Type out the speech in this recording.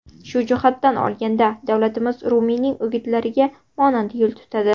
Shu jihatdan olganda davlatimiz Rumiyning o‘gitlariga monand yo‘l tutadi.